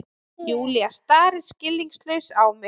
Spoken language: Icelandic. Júlía starir skilningslaus á mig.